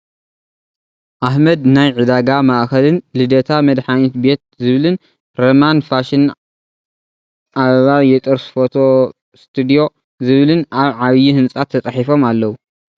ኣህመድ ናየ ዒዳጋ ማእከልን ልደታ መድሃኒት ቤት ዝብልን ረማን ፋሽን ኣበባ የጥርስ ፎቶ ስትድዮ ዝብልን ኣብ ዓብይ ህንፃ ተፃሒፎም ኣለው።